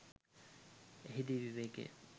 එහිදී විවේකය